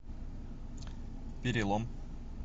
перелом